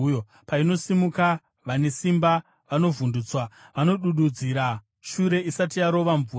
Painosimuka, vane simba vanovhundutswa, vanodududzira shure isati yarova mvura.